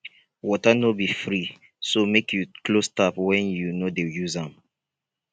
water no be free so make you close tap when you no dey use am